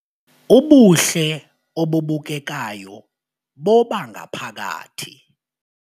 Ubuhle obubukekayo bobangaphakathi